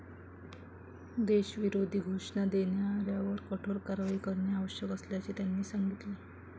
देशविरोधी घोषणा देणाऱ्यांवर कठोर कारवाई करणे आवश्यक असल्याचे त्यांनी सांगितले.